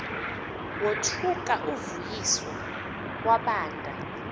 wothuka uvuyiswa wabanda